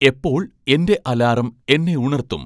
എപ്പോൾ എൻ്റെ അലാറം എന്നെ ഉണർത്തും